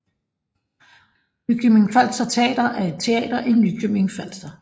Nykøbing Falster Teater er et teater i Nykøbing Falster